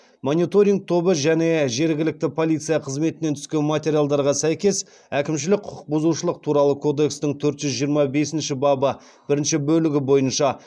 мониторинг тобы және жергілікті полиция қызметінен түскен материалдарға сәйкес әкімшілік құқық бұзушылық туралы кодекстің төрт жүз жиырма бесніші бабы бірінші бөлігі бойынша